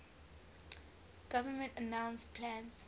government announced plans